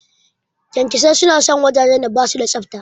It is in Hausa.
Ƙyanƙyasai suna son wajajen da basu da tsafta.